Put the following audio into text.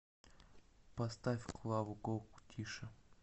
поставь клаву коку тише